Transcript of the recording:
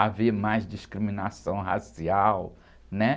haver mais discriminação racial, né?